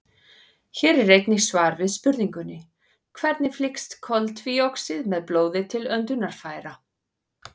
Hér er einnig svar við spurningunni: Hvernig flyst koltvíoxíð með blóði til öndunarfæra?